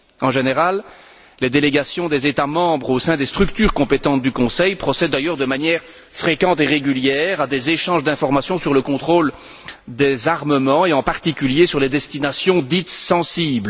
En général, les délégations des États membres au sein des structures compétentes du Conseil procèdent d'ailleurs de manière fréquente et régulière à des échanges d'informations sur le contrôle des armements et en particulier sur les destinations dites sensibles.